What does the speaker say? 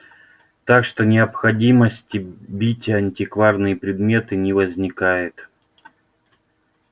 так что необходимости бить антикварные предметы не возникает